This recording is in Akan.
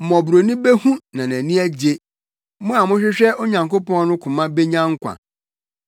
Mmɔborɔni behu na nʼani agye, mo a mohwehwɛ Onyankopɔn no koma benya nkwa.